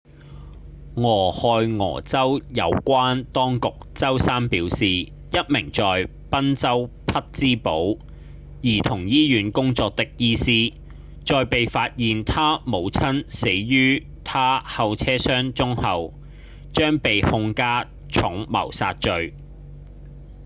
俄亥俄州有關當局週三表示一名在賓州匹玆堡兒童醫院工作的醫師在被發現她母親死於她後車箱中後將被控加重謀殺罪